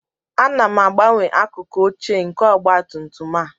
Ana m agbanwe akụkụ ochie nke ọgba tum tum a